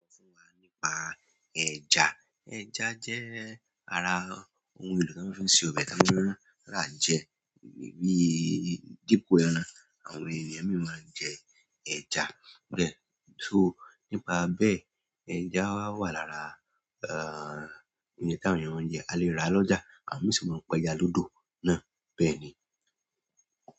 Sọ fún wa nípa ẹja. Ẹja jẹ́ ara ohun èlò tí a maa fi ń se ọbẹ̀ tí a maa rà jẹ, díi dípò ẹran, àwọn ènìyàn mi maa n jẹ ẹja bẹ́ẹ̀. Só nípa bẹ́ẹ̀, ẹja wà lára ehn oun tí àwọn ènìyàn jẹ, a lè rà lọ́jà àwọn mi sì mọ̀ n pé ẹja lódò náà bẹ́ẹ̀ ni.